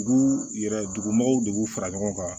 Dugu yɛrɛ dugu mɔgɔw de b'u fara ɲɔgɔn kan